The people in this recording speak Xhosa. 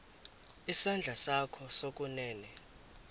isandla sakho sokunene